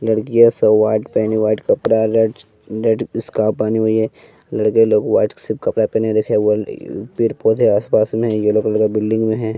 लड़कियां सब व्हाइट पहनी व्हाइट कपड़ा रेड रेड स्काफ पहनी हुई है लड़के लोग व्हाइट सिफ कपड़ा पहनी देख पौधे आसपास में है येलो कलर का बिल्डिंग में है।